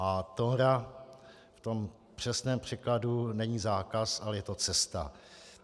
A tóra v tom přesném překladu není zákaz, ale je to cesta.